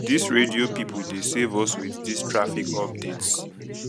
dis radio pipo dey save us wit dis traffic updates